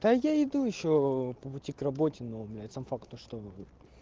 да я иду ещё по бутик работе но у меня сам факт то что